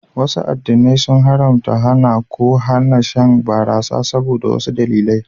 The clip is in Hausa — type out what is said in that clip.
Wasu addinai sun haramta, hana, ko hana shan barasa saboda wasu dalilai